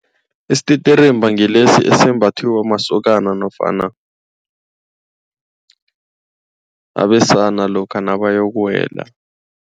Isititirimba ngilesi esembathwa masokana nofana abesana lokha nabayokuwela.